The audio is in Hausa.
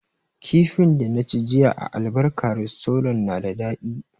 Kifin da na ci jiya a albarka restorant na da daɗi